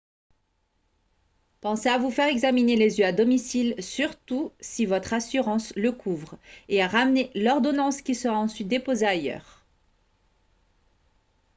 pensez à vous faire examiner les yeux à domicile surtout si votre assurance le couvre et à ramener l'ordonnance qui sera ensuite déposée ailleurs